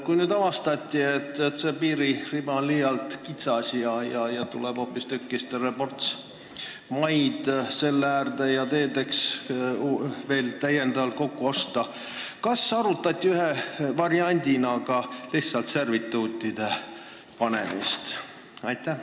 Kui nüüd avastati, et see piiririba on liialt kitsas ja tuleb terve ports maid selle laiendamiseks ja täiendavalt veel teedeks kokku osta, siis kas arutati ühe variandina ka lihtsalt servituutide panemist?